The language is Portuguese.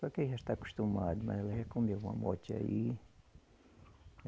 Só que aí já está acostumado, né ela já comeu uma aí.